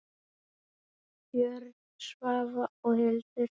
Björn, Svava og Hildur.